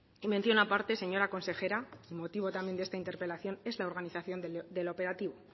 y mención aparte señora consejera el motivo también de esta interpelación es la organización del operativo